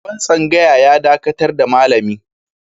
Shugaban tsangaya ya dakatar da malami.